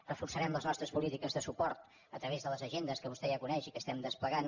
reforçarem les nostres polítiques de suport a través de les agendes que vostè ja coneix i que estem desplegant